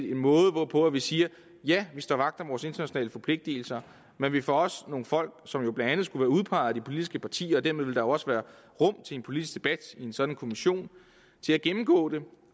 en måde hvorpå vi siger ja vi står vagt om vores internationale forpligtelser men vi får også nogle folk som blandt andet skulle være udpeget af de politiske partier og dermed ville der også være rum til en politisk debat i en sådan kommission til at gennemgå dem